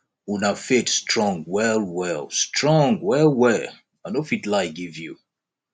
una faith strong well well strong well well i no fit lie give you